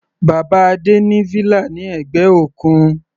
Bàbá Adé ní villa ní ẹ̀gbẹ́ òkun.